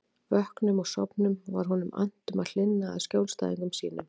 Vöknum og sofnum var honum annt um að hlynna að skjólstæðingum sínum.